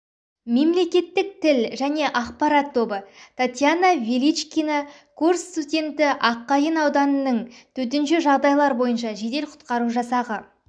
мемлекеттік тіл және ақпарат тобы татьяна величкина курс студенті аққайын ауданының төтенше жағдайлар бойынша жедел-құтқару жасағы